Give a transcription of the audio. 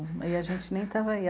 E a gente nem estava aí